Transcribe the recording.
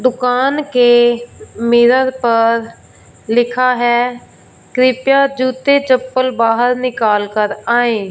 दुकान के मिरर पर लिखा है कृपया जूते चप्पल बाहर निकाल कर आए।